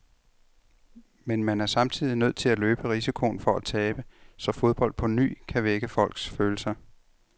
Men man er samtidig nødt til at løbe risikoen for at tabe, så fodbold på ny kan vække folks følelser.